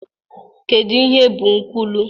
Kedu ihe bụ nkwulu?